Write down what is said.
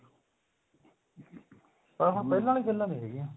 ਪਰ ਹੁਣ ਪਹਿਲਾਂ ਵਾਲੀਆਂ ਗੱਲਾਂ ਨੀ ਰਹੀਆਂ